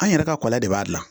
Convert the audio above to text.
An yɛrɛ ka kɔlɔnla de b'a dilan